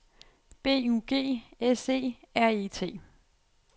B U G S E R E T